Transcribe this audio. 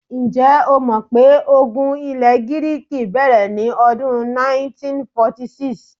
Ǹjẹ́́ o mọ̀ pé ogun ilẹ̀ Gíríìkì bẹ̀rẹ̀ ní ọdún 1946?